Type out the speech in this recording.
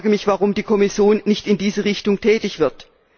Ich frage mich, warum die Kommission nicht in diese Richtung tätig wird.